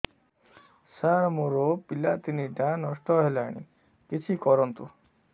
ସାର ମୋର ପିଲା ତିନିଟା ନଷ୍ଟ ହେଲାଣି କିଛି କରନ୍ତୁ